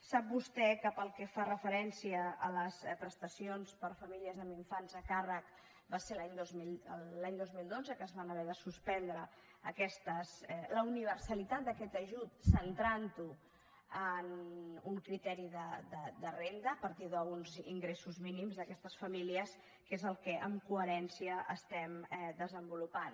sap vostè que pel que fa referència a les prestacions per a famílies amb infants a càrrec va ser l’any dos mil dotze que es van haver de suspendre aquestes la universalitat d’aquest ajut centrant ho en un criteri de renda a partir d’uns ingressos mínims d’aquestes famílies que és el que en coherència estem desenvolupant